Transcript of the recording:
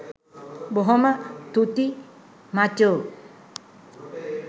බොහොම තුති මචෝ.